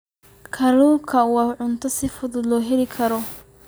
Kalluunku waa cunto si fudud loo heli karo.